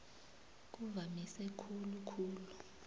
kuvamise khulu khulu